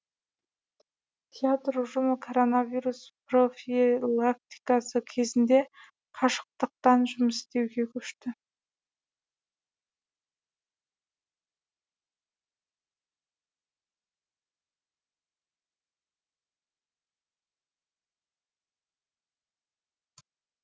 театр ұжымы коронавирус профилактикасы кезінде қашықтықтан жұмыс істеуге көшті